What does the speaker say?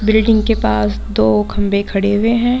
Building के पास दो खम्भे खड़े हुए हैं।